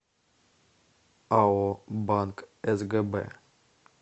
ао банк сгб